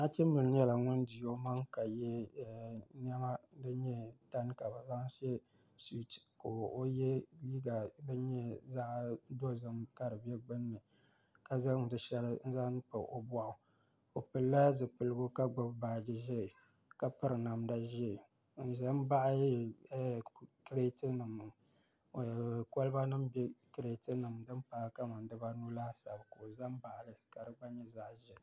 Nachimbili nyɛla ŋun di o maŋa ka yɛ niɛma ka di nyɛ tani ka bi zaŋ shɛ suit ka o yɛ liiga dozim niŋ di gbunni ka zaŋ di shɛli n zaŋ pa o boɣu o pilila zipiligu ka gbubi paadiheeka piri namda ʒiɛ n ʒɛ n baɣa kolba nim bɛ kirɛt nim ni kamani dibanu laasabu ka o ʒɛ n baɣali ka di gba nyɛ zaɣ ʒiɛ